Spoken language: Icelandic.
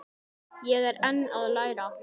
Ég er enn að læra.